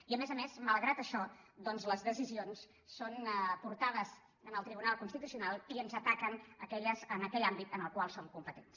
i a més a més malgrat això les decisions són portades al tribu·nal constitucional i ens ataquen en aquell àmbit en el qual som competents